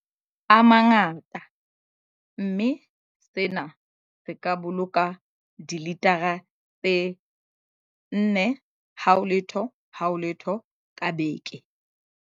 A mangata, mme sena se boloka dilitara tse 400 ka beke.